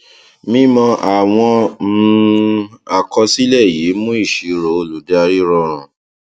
mímọ àwọn um àkọsílẹ yìí mú ìṣirò olùdarí rọrùn